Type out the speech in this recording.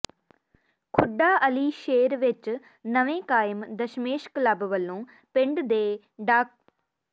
ਖੁੱਡਾ ਅਲੀ ਸ਼ੇਰ ਵਿੱਚ ਨਵੇਂ ਕਾਇਮ ਦਸਮੇਸ਼ ਕਲੱਬ ਵੱਲੋਂ ਪਿੰਡ ਦੇ ਡਾ